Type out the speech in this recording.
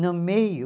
No meio